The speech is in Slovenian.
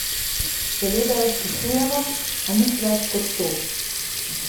Seveda jo spoštujemo, a nič več kot to.